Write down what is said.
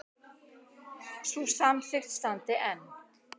Sú samþykkt standi enn.